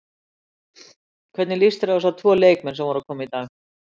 Hvernig líst þér á þessa tvo leikmenn sem voru að koma í dag?